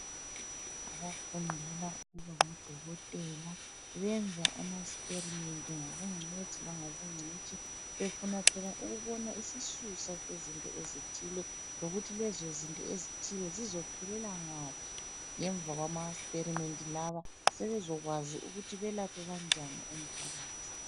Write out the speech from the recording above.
Abafundela ukuba ngodokotela benza amaxperimenti ngobungcwethi lobungcitshi befuna phela ukubona isisusa sezinto ezithile , lokuthi lezo zinto ezithile zizophelela ngaphi ngemva awamaxperimenti lawa sebezokwazi ukuthi belaphe kanjani umphakathi.